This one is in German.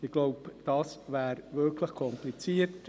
Ich denke, dies wäre wirklich kompliziert.